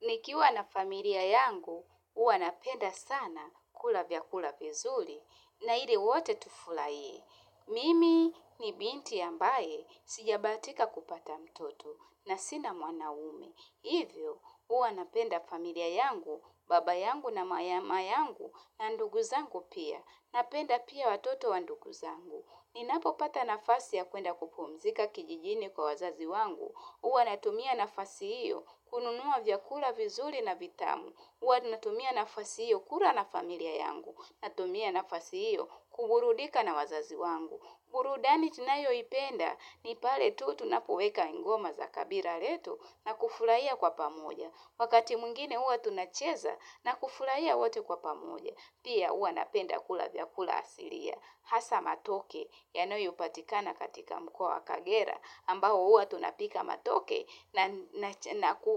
Nikiwa na familia yangu, huwa napenda sana kula vyakula vizuri na hili wote tufurahie. Mimi ni binti ambaye sijabahatika kupata mtoto na sina mwanaume. Hivyo, huwa napenda familia yangu, baba yangu na mama yangu na ndugu zangu pia. Napenda pia watoto wa nduguzangu. Ninapopata nafasi ya kuenda kupumzika kijijini kwa wazazi wangu. Huwa natumia nafasi hiyo kununua vyakula vizuri na vitamu. Huwa ninatumia nafasi hiyo kula na familia yangu. Natumia nafasi iyo kuburudika na wazazi wangu. Burudani tunayoipenda ni pale tu tunapoweka ngoma za kabila letu na kufurahia kwa pamoja. Wakati mwingine huwa tunacheza na kufurahia wote kwa pamoja. Pia huwa napenda kula vyakula asilia. Hasa matoke, yanayopatikana katika mkoa wa kagera, ambao huwa tunapika matoke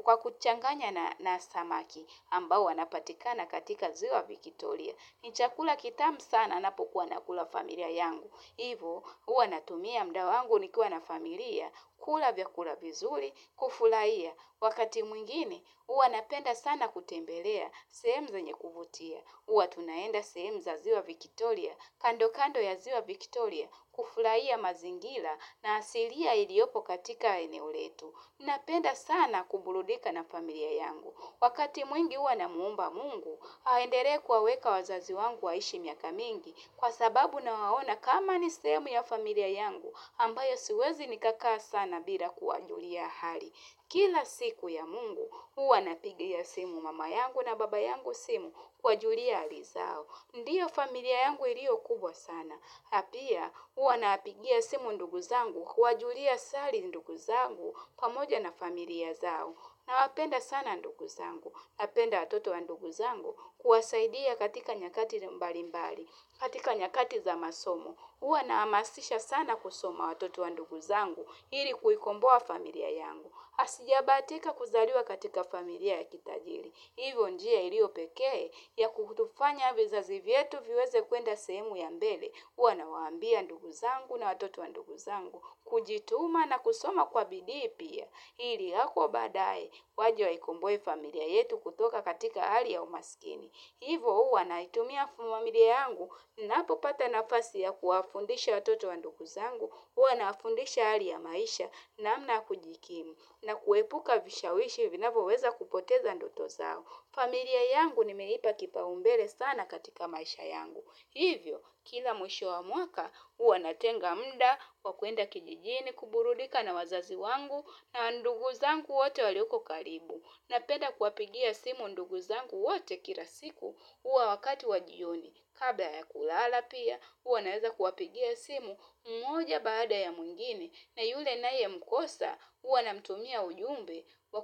kwa kuchanganya na samaki ambao wanapatikana katika ziwa Victoria. Ni chakula kitamu sana napokuwa nakula familia yangu. Hivo huwa natumia muda wangu nikiwa na familia, kula vyakula vizuri, kufurahia. Wakati mwingine, huwa napenda sana kutembelea, sehemu zenye kuvutia. Huwa tunaenda sehemu za ziwa Victoria, kando kando ya ziwa Victoria, kufurahia mazingira na asilia iliyopo katika eneo letu. Napenda sana kuburudika na familia yangu. Wakati mwingi huwa namuomba mungu, aendelee kuwaweka wazazi wangu waishi miaka mingi. Kwa sababu nawaona kama ni sehemu ya familia yangu, ambayo siwezi nikakaa sana bila kuwajulia hali. Kila siku ya mungu, huwa napigia simu mama yangu na baba yangu simu kuwajulia hali zao. Ndio familia yangu iliyo kubwa sana. Na pia, huwa napigia simu ndugu zangu kuwajulia sali ndugu zangu pamoja na familia zao. Nawapenda sana ndugu zangu. Napenda watoto wa ndugu zangu kuwasaidia katika nyakati mbalimbali, katika nyakati za masomo. Huwa nahamasisha sana kusoma watoto wa ndugu zangu ili kuikomboa familia yangu. Sijabahatika kuzaliwa katika familia ya kitajiri. Hivyo njia iliyo pekee ya kutufanya vizazi vyetu viweze kuenda sehemu ya mbele. Huwa nawaambia ndugu zangu na watoto wa ndugu zangu kujituma na kusoma kwa bidii pia. Ili kwa baadae, waje waikomboe familia yetu kutoka katika hali ya umasikini. Hivo huwa naitumia familia yangu ninapopata nafasi ya kuwafundisha watoto wa ndugu zangu, huwa nawafundisha hali ya maisha, namna ya kujikimu na kuepuka vishawishi vinavyoweza kupoteza ndoto zao. Familia yangu nimeipa kipaumbele sana katika maisha yangu. Hivyo, kila mwisho wa mwaka, huwa natenga muda, wa kuenda kijijini, kuburudika na wazazi wangu, na ndugu zangu wote walioko karibu. Napenda kuwapigia simu ndugu zangu wote kila siku huo wakati wa jioni. Kabla ya kulala pia huwa naeza kuwapigia simu mmoja baada ya mwingine na yule ninayemkosa huwa namtumia ujumbe wa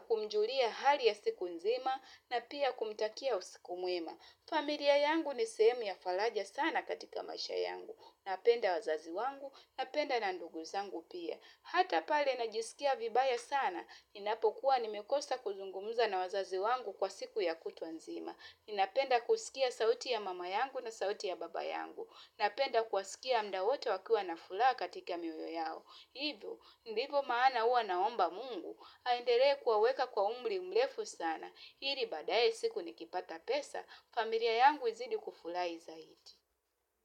kumjulia hali ya siku nzima na pia kumtakia usiku mwema. Familia yangu ni sehemu ya faraja sana katika maisha yangu. Napenda wazazi wangu. Napenda na ndugu zangu pia. Hata pale najisikia vibaya sana. Ninapokuwa nimekosa kuzungumza na wazazi wangu kwa siku ya kutwa nzima. Ninapenda kusikia sauti ya mama yangu na sauti ya baba yangu. Napenda kuwasikia muda wote wakiwa na furaha katika mioyo yao. Hivyo, ndivyo maana huwa naomba mungu, aendelee kuwaweka kwa umri mrefu sana, ili baadaye siku nikipata pesa, familia yangu izidi kufurahi zaidi.